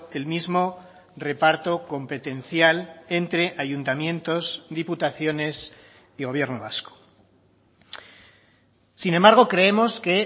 el mismo reparto competencial entre ayuntamientos diputaciones y gobierno vasco sin embargo creemos que